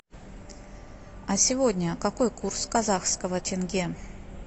а сегодня какой курс казахского тенге